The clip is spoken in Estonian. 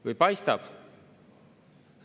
Või paistab?